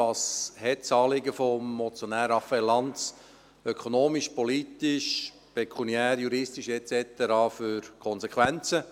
Was hat das Anliegen des Motionärs Raphael Lanz ökonomisch, politisch, pekuniär, juristisch et cetera für Konsequenzen?